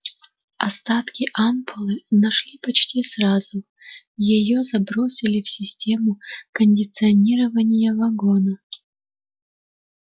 остатки ампулы нашли почти сразу её забросили в систему кондиционирования вагона